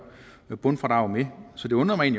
bundfradrag med så det undrer mig